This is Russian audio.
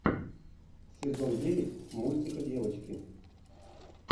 сезон девять мультика девочки